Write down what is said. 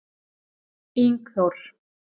Ingþór